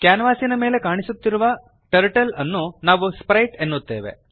ಕ್ಯಾನ್ವಾಸಿನ ಮೇಲೆ ಕಾಣಿಸುತ್ತಿರುವ ಟರ್ಟಲ್ ಅನ್ನು ನಾವು ಸ್ಪ್ರೈಟ್ ಸ್ಪ್ರೈಟ್ ಎನ್ನುತ್ತೇವೆ